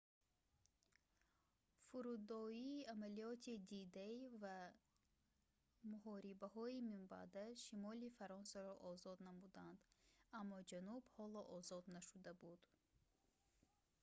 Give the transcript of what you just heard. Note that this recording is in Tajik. фурудоии амалиёти «d-day» ва муҳорибаҳои минбаъда шимоли фаронсаро озод намуданд аммо ҷануб ҳоло озод нашуда буд